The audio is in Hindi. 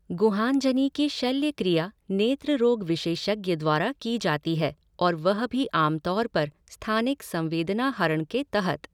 गुहांजनी की शल्यक्रिया नेत्र रोग विशेषज्ञ द्वारा की जाती है और वह भी आम तौर पर स्थानिक संवेदनाहरण के तहत।